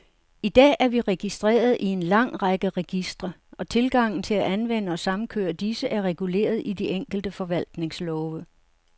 I dag er vi registreret i en lang række registre, og tilgangen til at anvende og samkøre disse, er reguleret i de enkelte forvaltningslove.